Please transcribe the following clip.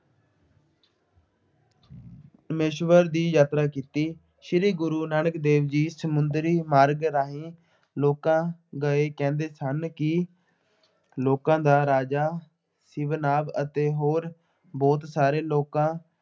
ਪ੍ਰਮੇਸ਼ਵਰ ਦੀ ਯਾਤਰਾ ਕੀਤੀ। ਸ਼੍ਰੀ ਗੁਰੂ ਨਾਨਕ ਦੇਵ ਜੀ ਸਮੁੰਦਰੀ ਮਾਰਗ ਰਾਹੀਂ ਲੋਕਾਂ ਗਏ ਕਹਿੰਦੇ ਸਨ ਕਿ ਲੋਕਾਂ ਦਾ ਰਾਜਾ ਸ਼ਿਵਨਾਥ ਅਤੇ ਹੋਰ ਬਹੁਤ ਸਾਰੇ ਲੋਕਾਂ